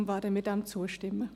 Deshalb werden wir zustimmen.